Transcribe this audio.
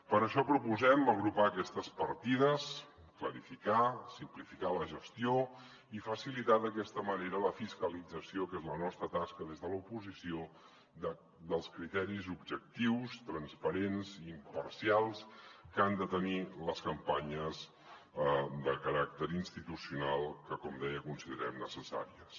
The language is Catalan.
per això proposem agrupar aquestes partides clarificar simplificar la gestió i facilitar d’aquesta manera la fiscalització que és la nostra tasca des de l’oposició dels criteris objectius transparents i imparcials que han de tenir les campanyes de caràcter institucional que com deia considerem necessàries